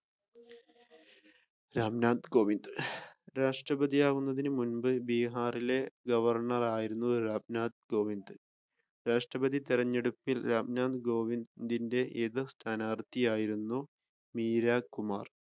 റാം നാഥ് കോവിന്ദ്. രാഷ്‌ട്രപതിയാകുന്നതിന് മുൻപ് ബിഹാറിലെ ഗവർണ്ണർ ആയിരുന്നു റാം നാഥ് കോവിന്ദ് രാഷ്‌ട്രപതി തിരഞ്ഞെടുപ്പിൽ റാം നാഥ് കോവിദിന്റെ എതിർ സ്ഥാനാർത്ഥിയായിരുന്നു വീരാഗ് കുമാർ.